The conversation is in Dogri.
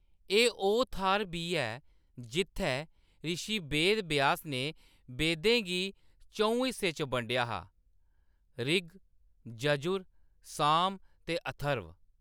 एह्‌‌ ओह्‌‌ थाह्‌‌‌र बी ऐ जित्थै रिशी वेदव्यास ने वेदें गी च'ऊं हिस्सें च बंडेआ हा-ऋग, यर्जु, साम ते अथर्व।